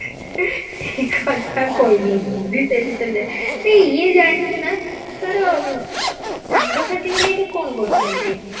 ମାନେ ଇଏ ଜାଣିଛୁ ନା ତୋର ସାଙ୍ଗ ସାଥିମାନେ ଏଠି କଣ କରୁଛନ୍ତି